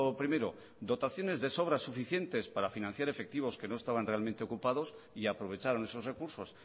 primero dotaciones de sobra suficientes para financiar efectivos que no estaban realmente ocupados y aprovecharon esos recursos